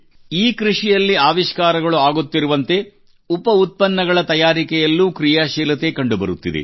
ಈ ಕೃಷಿಯಲ್ಲಿ ಆವಿಷ್ಕಾರಗಳು ಆಗುತ್ತಿರುವಂತೆ ಉಪ ಉತ್ಪನ್ನಗಳ ತಯಾರಿಕೆಯಲ್ಲೂ ಕ್ರೀಯಾಶೀಲತೆ ಕಂಡುಬರುತ್ತಿದೆ